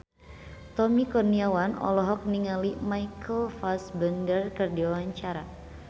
Tommy Kurniawan olohok ningali Michael Fassbender keur diwawancara